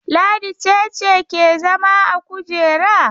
Ladi ce ce ke zama a kujera?